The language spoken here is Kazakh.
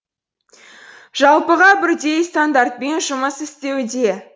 жалпыға бірдей стандартпен жұмыс істеуде